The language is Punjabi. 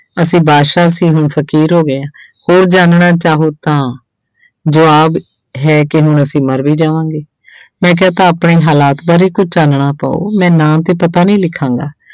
ਅਸੀਂ ਬਾਦਸ਼ਾਹ ਸੀ ਹੁਣ ਫ਼ਕੀਰ ਹੋ ਗਏ ਹਾਂ ਹੋਰ ਜਾਣਨਾ ਚਾਹੋ ਤਾਂ ਜਵਾਬ ਹੈ ਕਿ ਹੁਣ ਅਸੀਂ ਮਰ ਵੀ ਜਾਵਾਂਗੇ ਮੈਂ ਕਿਹਾ ਤਾਂ ਆਪਣੇ ਹਾਲਾਤ ਬਾਰੇ ਕੁੱਝ ਚਾਨਣਾ ਪਾਓ, ਮੈਂ ਨਾਂ ਤੇ ਪਤਾ ਨਹੀਂ ਲਿਖਾਂਗਾ।